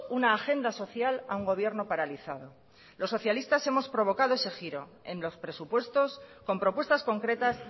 una agenda social a un gobierno paralizado los socialistas hemos provocado ese giro en los presupuestos con propuestas concretas